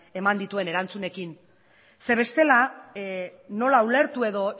eman dituen erantzunekin zeren eta bestela nola ulertu edo